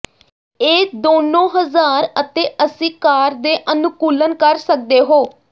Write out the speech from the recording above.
ਇਹ ਦੋਨੋ ਹਜ਼ਾਰ ਅਤੇ ਅੱਸੀ ਕਾਰ ਦੇ ਅਨੁਕੂਲਣ ਕਰ ਸਕਦੇ ਹੋ